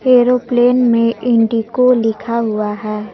Aeroplane में IndiGo लिखा हुआ है।